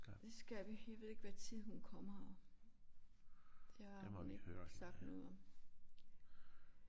Det skal vi jeg ved ikke hvad tid hun kommer det har hun ikke sagt noget om